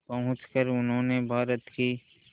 पहुंचकर उन्होंने भारत की